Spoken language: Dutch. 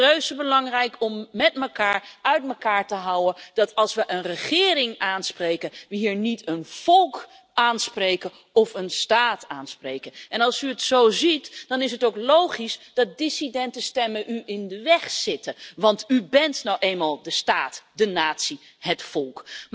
Het is reuzebelangrijk om allemaal uit mekaar te houden dat als we een regering aanspreken, we hier niet een volk of een staat aanspreken. Als u het zo ziet, dan is het ook logisch dat dissidente stemmen u in de weg zitten, want u bent nou eenmaal de staat, de natie, het volk.